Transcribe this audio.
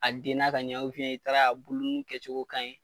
A denna k'a ɲɛ i taara a buluninw kɛcogo ka ɲi